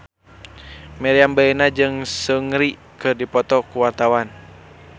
Meriam Bellina jeung Seungri keur dipoto ku wartawan